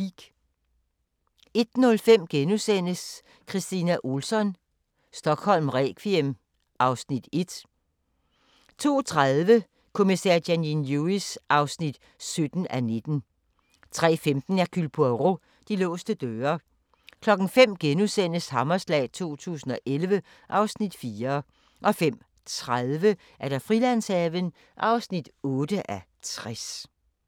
01:05: Kristina Ohlsson: Stockholm requiem (Afs. 1)* 02:30: Kommissær Janine Lewis (17:19) 03:15: Hercule Poirot: De låste døre 05:00: Hammerslag 2011 (Afs. 4)* 05:30: Frilandshaven (8:60)